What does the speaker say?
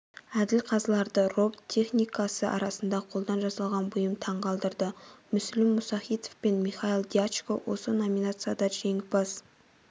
әділ қазыларды роботтехникасы арасында қолдан жасалған бұйым таңғалдырды мүслім мұсахитов пен михаил дьячко осы номинацияда жеңімпаз